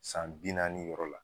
San bi naani yɔrɔ la.